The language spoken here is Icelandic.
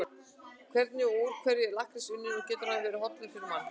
Hvernig og úr hverju er lakkrís unninn og getur hann verið hollur fyrir mann?